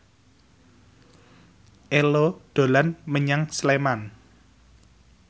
Ello dolan menyang Sleman